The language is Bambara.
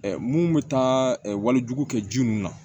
mun bɛ taa wali jugu kɛ ji mun na